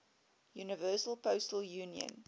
universal postal union